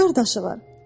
Neçə qardaşı var?